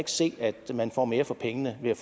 se at man får mere for pengene ved at